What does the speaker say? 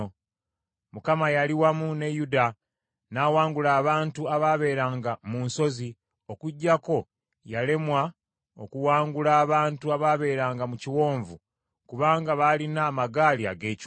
Mukama yali wamu ne Yuda n’awangula abantu abaabeeranga mu nsozi okuggyako yalemwa okuwangula abantu abaabeeranga mu kiwonvu kubanga baalina amagaali ag’ekyuma.